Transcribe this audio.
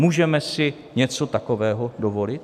Můžeme si něco takového dovolit?